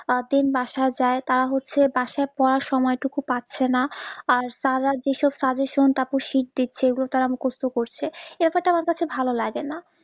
then বাসা যাই তারা হচ্ছে বাসায় পড়ার সময় টুকু পাচ্ছে না আর তার যে সব suggestion তারপর seat দিচ্ছে ওগুলো তারা মুখস্ত করছে ইটা করতে আমার কাছে ভালো লাগেনা